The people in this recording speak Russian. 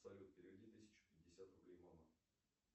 салют переведи тысячу пятьдесят рублей мама